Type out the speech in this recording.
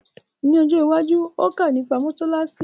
Ni ojo iwaju, óò kọ́ nipa mósálásí